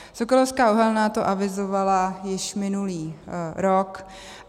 Sokolovská uhelná to avizovala již minulý rok.